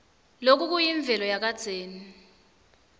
loku kuyimvelo yakadzeni